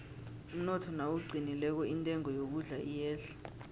umnotho nawuqinileko intengo yokudla iyehla